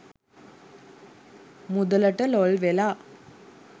මුදලට ලොල්වෙලා